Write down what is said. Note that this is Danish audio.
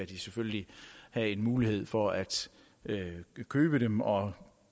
de selvfølgelig have en mulighed for at købe dem og